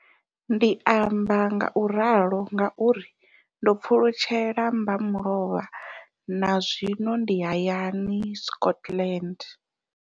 Ndi amba ngauralo nga uri ndo pfulutshela mbamulovha na zwino ndi hayani, Scotland.